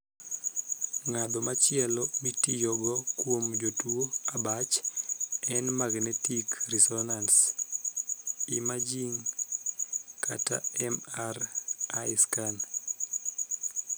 Ngadho machielo mitiyogo kuom jotuo abach en 'magnetic resonance imaging' kata 'MRI scan'.